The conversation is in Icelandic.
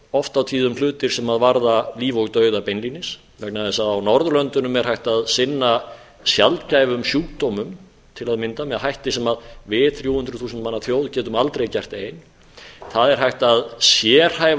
oft og tíðum hlutir sem varða líf og dauða beinlínis vegna þess að á norðurlöndunum er hægt að sinna sjaldgæfum sjúkdómum til að mynda með hætti sem við þrjú hundruð þúsund manna þjóð getum aldrei gert ein það er hægt að sérhæfa